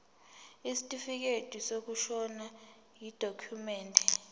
isitifikedi sokushona yidokhumende